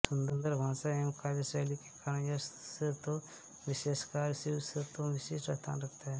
सुन्दर भाषा एवं काव्यशैली के कारण यह स्तोत्र विशेषकर शिवस्तोत्रों में विशिष्ट स्थान रखता है